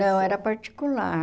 Não, era particular.